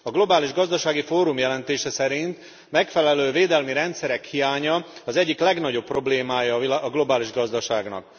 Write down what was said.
A globális gazdasági fórum jelentése szerint a megfelelő védelmi rendszerek hiánya az egyik legnagyobb problémája a globális gazdaságnak.